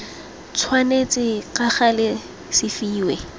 tshwanetse ka gale se fiwe